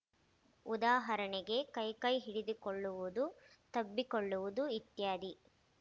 ಉದಾಹರಣೆಗೆ ಕೈಕೈ ಹಿಡಿದುಕೊಳ್ಳುವುದು ತಬ್ಬಿಕೊಳ್ಳುವುದು ಇತ್ಯಾದಿ